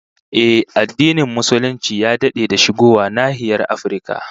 Ehh, addinin Musulunci ya dade da shigowa nahiyar Afirka